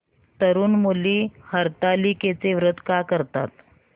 तरुण मुली हरतालिकेचं व्रत का करतात